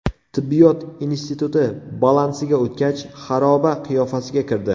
Tibbiyot instituti balansiga o‘tgach, xaroba qiyofasiga kirdi.